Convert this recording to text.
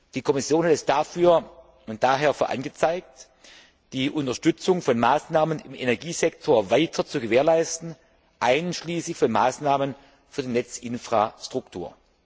Die Kommission hält es daher für angezeigt, die Unterstützung von Maßnahmen im Energiesektor weiter zu gewährleisten, einschließlich von Maßnahmen für die Netzinfrastruktur.